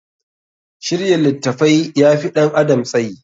Shirya littafi ya fi ɗan adam tsayi.